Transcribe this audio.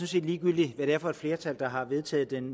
set ligegyldigt hvad det er for et flertal der har vedtaget den